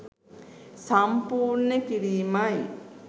සම්පූර්ණ කිරීමයි.